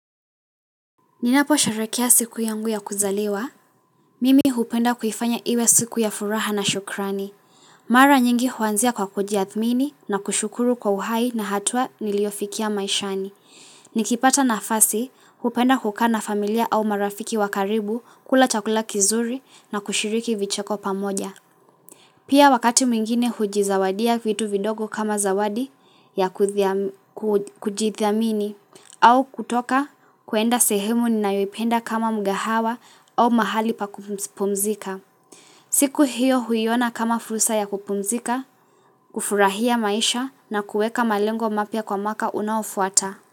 Ninapo sharehekea siku yangu ya kuzaliwa, mimi hupenda kuifanya iwe siku ya furaha na shukrani. Mara nyingi huanzia kwa kujiathmini na kushukuru kwa uhai na hatua niliyofikia maishani. Nikipata nafasi, hupenda kukana familia au marafiki wa karibu kula chakula kizuri na kushiriki vicheko pamoja. Pia wakati mwingine hujizawadia vitu vidogo kama zawadi ya kujithamini au kutoka kuenda sehemu ninayopenda kama mkahawa au mahali pa kupumzika. Siku hiyo huiona kama fursa ya kupumzika, kufurahia maisha na kuweka malengo mapya kwa mwaka unaofuata.